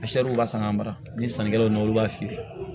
b'a san k'a mara ni sannikɛlaw nana olu b'a feere